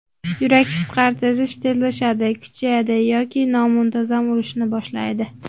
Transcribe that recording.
Yurak qisqarish tezlashadi, kuchayadi yoki nomuntazam urishni boshlaydi.